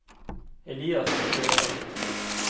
Elias Sørheim